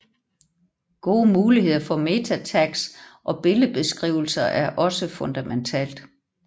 Gode muligheder for MetaTags og billedbeskrivelser er også fundamentalt